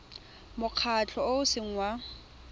mokgatlho o o seng wa